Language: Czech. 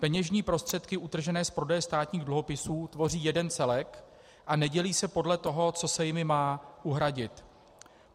Peněžní prostředky utržené z prodeje státních dluhopisů tvoří jeden celek a nedělí se podle toho, co se jimi má uhradit.